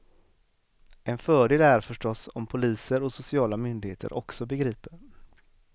En fördel är förstås om poliser och sociala myndigheter också begriper.